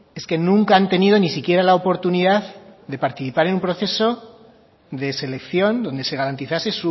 es que nunca han tenido ni siquiera la oportunidad de participar en un proceso de selección donde se garantizase